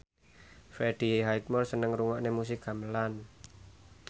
Freddie Highmore seneng ngrungokne musik gamelan